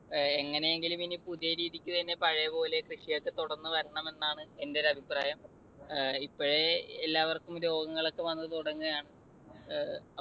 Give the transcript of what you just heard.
എങ്ങനെയെങ്കിലും ഇനി പുതിയ രീതിക്ക് തന്നെ പഴയപോലെ കൃഷിയൊക്കെ തുടർന്ന് വരണമെന്നാണ് എൻ്റെ ഒരു അഭിപ്രായം. ഇപ്പോഴേ എല്ലാവർക്കും രോഗങ്ങളൊക്കെ വന്നു തുടങ്ങാണ്. ഏർ